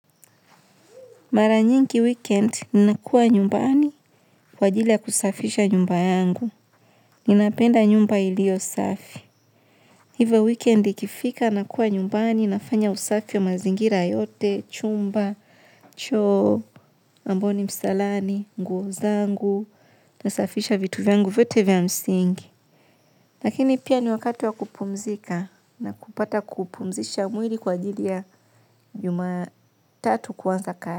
Mara nyingi wikendi nakua nyumbani kwa ajili ya kisafisha nyumba yangu. Ninapenda nyumba ilio safi. Hivo weekend ikifika, nakua nyumbani, nafanya usafi ya mazingira yote, chumba, choo, ambao ni msalani, nguo zangu, nasafisha vitu vyangu vyote vya msingi. Lakini pia ni wakati wa kupumzika na kupata kupumzisha mwili kwa ajili ya jumatatu kuanza kazi.